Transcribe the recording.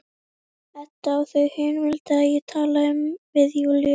Edda og þau hin vildu að ég talaði um við Júlíu.